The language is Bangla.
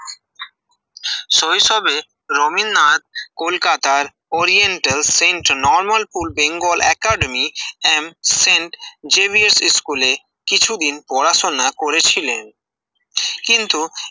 শৈশবে রবীন্দ্রনাথ কলকাতার Oriental Saint Normal pool Bengal Academy and Saint Xavier's স্কুলে কিছুদিন পড়াশুনা করেছিলেন কিন্তু